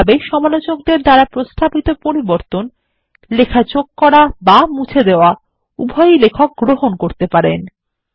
এই ভাবে সমালোচকদের দ্বারা প্রস্তাবিত পরিবর্তন লেখা যোগ করা এবং মুছে দেওয়া উভয়ই লেখক গ্রহণ করতে পারেন